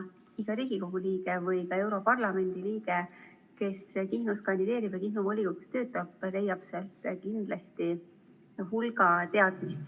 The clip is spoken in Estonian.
Iga Riigikogu liige või ka europarlamendi liige, kes Kihnus kandideerib ja Kihnu volikogus töötab, saab sealt kindlasti hulga teadmist.